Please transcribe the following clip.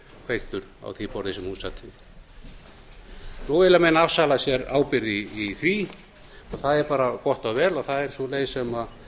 kveiktur á því borði sem hún sat við nú vilja menn afsala sér ábyrgð í því og það er bara gott og vel og það er sú leið sem